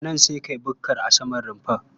Daga nan sai ka yi bukkar a saman rumfar.